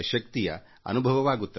ಎಲ್ಲದಕ್ಕೂ ಉತ್ತಮ ಅಭಿವ್ಯಕ್ತಿಯ ಅಗತ್ಯವಿದೆ